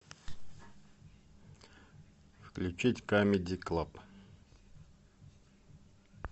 включить камеди клаб